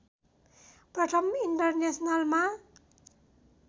प्रथम इन्टरनेसनलमा